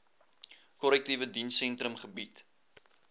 korrektiewe dienssentrum gebied